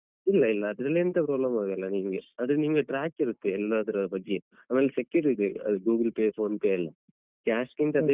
ಇಲ್ಲ ಇಲ್ಲ ಅದ್ರಲ್ಲೆಂತ problem ಆಗಲ್ಲ ನಿಂಗೆ ಆದ್ರೆ ನಿಂಗೆ track ಇರುತ್ತೆ ಎಲ್ಲಾದ್ರ ಬಗ್ಗೆ ಆಮೇಲ್ secure ಇದೆ Google Pay Phonepe ಯೆಲ್ಲಾ cash ಗಿಂತ ಅದೇ better.